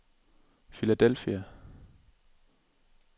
Philadelphia